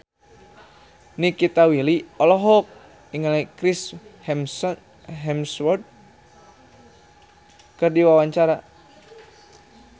Nikita Willy olohok ningali Chris Hemsworth keur diwawancara